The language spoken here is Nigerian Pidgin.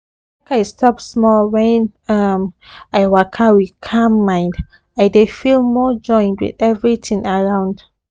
make i stop small when um i waka with calm mind i dey feel more joined with everything around um